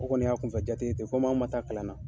O kɔni y' kunfɛ jate ye ten, komi an ma taa kalan na